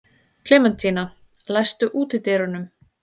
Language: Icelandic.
Klementína, læstu útidyrunum.